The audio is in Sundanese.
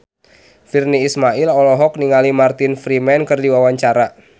Virnie Ismail olohok ningali Martin Freeman keur diwawancara